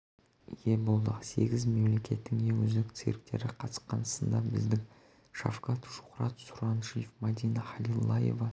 ие болдық сегіз мемлекеттің ең үздік цирктері қатысқан сында біздің шавкад шухрат сұраншиев мадина халилаева